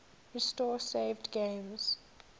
restore saved games